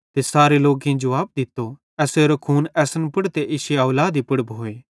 ते सारे लोकेईं जुवाब दित्तो एसेरो खून असन पुड़ ते इश्शी औलादी पुड़ भोए